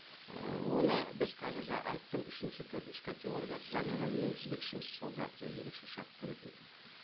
ііі оны біз қазір айттым үшінші төртінші категорияға заменаны енгізбекшіміз сол ерекше шарт беретін